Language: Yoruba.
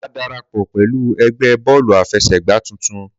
Màá darapọ̀ pẹ̀lú ẹgbé Bọ́ọ́lù àfesẹ̀gbá títun